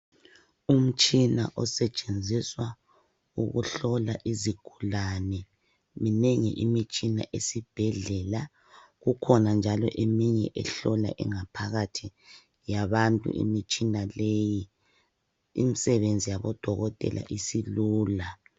Umutshina osetshenziswa ukuhlola izigulane minengi imitshina esibhedlela, kukhona njalo eminye ehlola ingaphakathi yabantu imitshina leyi imisebenzi yabo dokotela isilula.